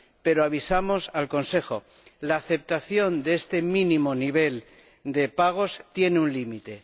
No obstante, avisamos al Consejo la aceptación de este mínimo nivel de pagos tiene un límite.